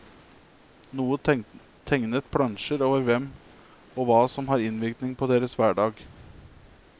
Noen tegnet plansjer over hvem og hva som har innvirkning på deres hverdag.